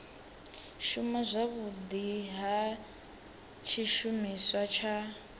shuma zwavhudi ha tshishumiswa tsha